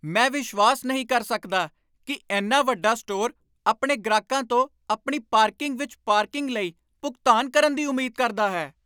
ਮੈਂ ਵਿਸ਼ਵਾਸ ਨਹੀਂ ਕਰ ਸਕਦਾ ਕਿ ਇੰਨਾ ਵੱਡਾ ਸਟੋਰ ਆਪਣੇ ਗ੍ਰਾਹਕਾਂ ਤੋਂ ਆਪਣੀ ਪਾਰਕਿੰਗ ਵਿੱਚ ਪਾਰਕਿੰਗ ਲਈ ਭੁਗਤਾਨ ਕਰਨ ਦੀ ਉਮੀਦ ਕਰਦਾ ਹੈ!